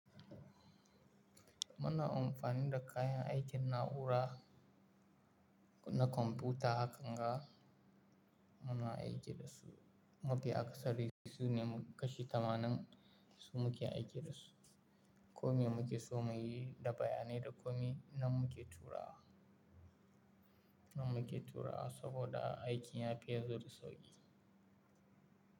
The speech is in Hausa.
Muna amfani da kayan aikin na'ura na kwamfuta, hakan ga muna aiki da su. Mafi akasari su ne kashi tamanin su muke aiki da su. Komai muke so mu yi da bayanai da komai nan muke turawa, nan muke turawa saboda aikin ya pe zo da sauƙi.